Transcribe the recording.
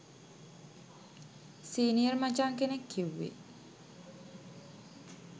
senior මචං කෙනෙක් කිව්වේ